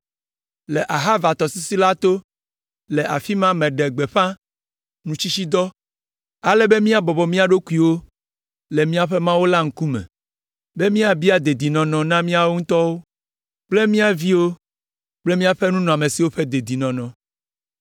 Le Ahava tɔsisi la to, le afi ma meɖe gbeƒã nutsitsidɔ, ale be míabɔbɔ mía ɖokuiwo le míaƒe Mawu la ŋkume be míabia dedinɔnɔ na míawo ŋutɔ kple mía viwo kple míaƒe nunɔamesiwo ƒe dedinɔnɔ.